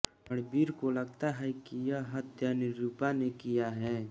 रणवीर को लगता है कि यह हत्या निरुपा ने किया है